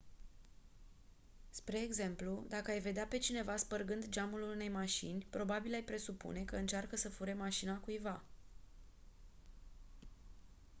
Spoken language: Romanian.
spre exemplu dacă ai vedea pe cineva spărgând geamul unei mașini probabil ai presupune că încearcă să fure mașina cuiva